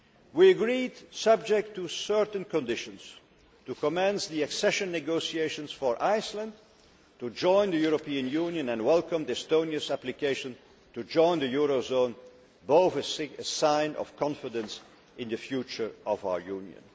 We agreed, subject to certain conditions, to commence the accession negotiations for Iceland to join the European Union and welcomed Estonia's application to join the eurozone, both signs of confidence in the future of our Union.